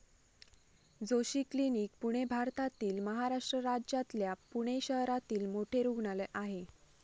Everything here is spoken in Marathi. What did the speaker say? जोशी क्लिनिक, पुणे भारतातील महाराष्ट्र राज्यातल्या पुणे शहरातील मोठे रुग्णालय आहे.